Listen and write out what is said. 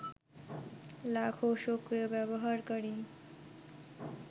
লাখো সক্রিয় ব্যবহারকারী